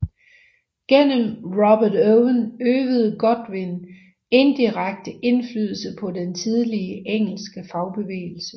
Gennem Robert Owen øvede Godwin indirekte indflydelse på den tidlige engelske fagbevægelse